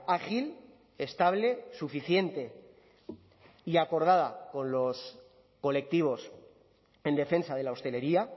ágil estable suficiente y acordada con los colectivos en defensa de la hostelería